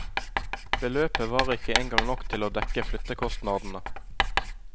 Beløpet var ikke engang nok til å dekke flyttekostnadene.